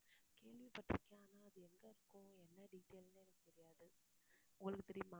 கேள்விப்பட்டிருக்கேன் ஆனா, அது எங்க இருக்கும் என்ன detail ன்னே எனக்கு தெரியாது உங்களுக்கு தெரியுமா